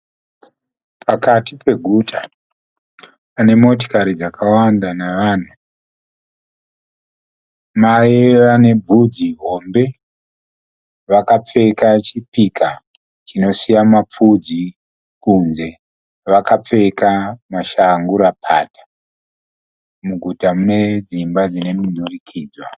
Pakati peguta pane motikari dzakawanda nevanhu. Mai vane bvudzi hombe vakapfeka chipika chinosiya mapfudzi kunze. Vakapfeka mashangurapata. Muguta mune dzimba dzemudurikidzanwa.